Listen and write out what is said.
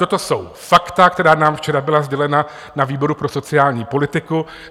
Toto jsou fakta, která nám včera byla sdělena na výboru pro sociální politiku.